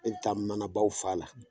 E bi taa manabaw fa a la